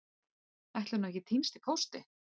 Ætli hún hafi ekki týnst í pósti?